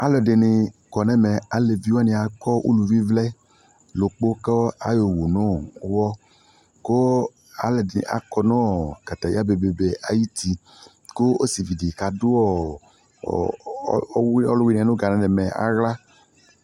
alo ɛdi ni kɔ no ɛvɛ alevi wani akɔ uluvi vlɛ lokpo ku ayɔ owu nu uwɔ ko alo ɛdini kɔ no kataya bebebe ni ayiti ko osivi di ado ɔluwiniɛ no Ghana no ɛmɛ ala